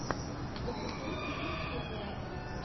запусти приключения